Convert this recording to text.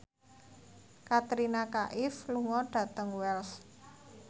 Katrina Kaif lunga dhateng Wells